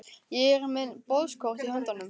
Ég er með boðskort í höndunum.